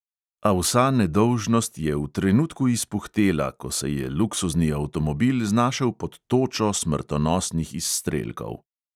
A vsa nedolžnost je v trenutku izpuhtela, ko se je luksuzni avtomobil znašel pod točo smrtonosnih izstrelkov.